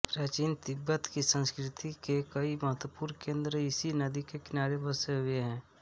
प्राचीन तिब्बत की संस्कृति के कई महत्वपूर्ण केन्द्र इसी नदी के किनारे बसे हुए थे